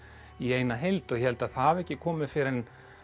í eina heild og ég held að það hafi ekki komið fyrr en